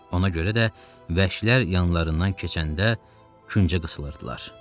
Ona görə də vəhşilər yanlarından keçəndə küncə qısılırdılar.